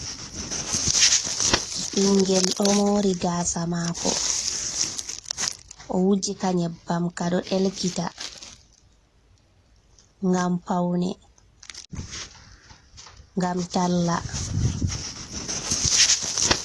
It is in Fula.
Ɓingel ɗo mori gasa mako o wuji ka nyebbam kaɗo delkita ngam paune, ngam talla.